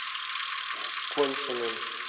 коньшиным